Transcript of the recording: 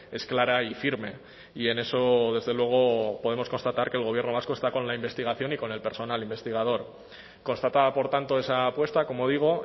es clara y firme y en eso desde luego podemos constatar que el gobierno vasco está con la investigación y con el personal investigador constatada por tanto esa apuesta como digo